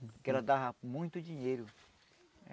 Porque ela dava muito dinheiro.